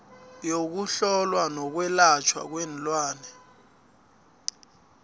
yokuhlolwa yokwelatjhwa kweenlwana